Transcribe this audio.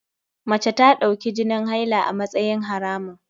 Mace ta dauki jinin haila a matsayin haramun.